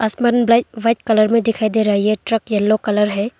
आसमान bright white colour में दिखाई दे रही है ये ट्रक यलो कलर है।